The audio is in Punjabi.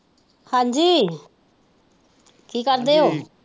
ਹਾਜ਼ੀ ਕੀ ਕਰਦੇ ਹੋ?